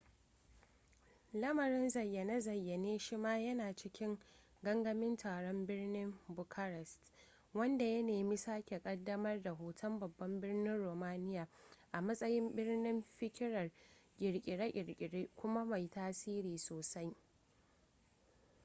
lamarin zayyane-zayyane shi ma yana cikin gangamin taron birnin bucharest wanda ya nemi sake kaddamar da hoton babban birnin romania a matsayin birnin fikirar kirkire-kirkire kuma mai tasiri sosai